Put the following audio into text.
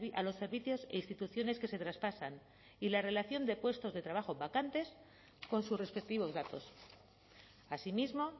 a los servicios e instituciones que se traspasan y la relación de puestos de trabajo vacantes con sus respectivos datos asimismo